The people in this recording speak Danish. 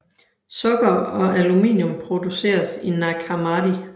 Sukker og aluminium produceres i Nag Hammadi